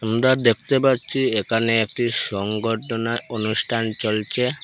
আমরা দেখতে পারছি এখানে একটি সংগঠনে অনুষ্ঠান চলছে।